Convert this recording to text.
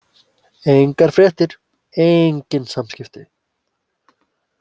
Engar fréttir, engin samskipti.